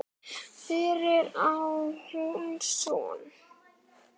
Fyrir á hún son.